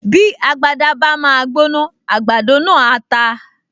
Bí agbada bá máa gbóná, àgbàdo náà á ta